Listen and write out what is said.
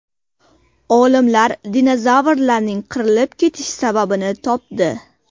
Olimlar dinozavrlarning qirilib ketish sababini topdi.